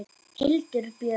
Hildur Björg.